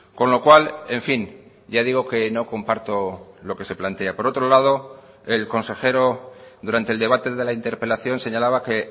con lo cual en fin ya digo que no comparto lo que se plantea por otro lado el consejero durante el debate de la interpelación señalaba que